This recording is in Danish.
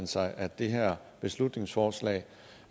sig at det her beslutningsforslag